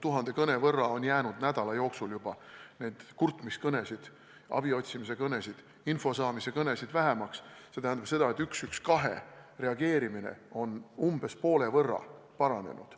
Tuhande kõne võrra on nädala jooksul jäänud juba vähemaks kurtmiskõnesid, abi otsimise kõnesid ja info saamise kõnesid, see tähendab seda, et 112 reageerimine on umbes poole võrra paranenud.